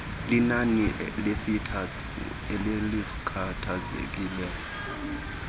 linani lesitafu elalikhathazekile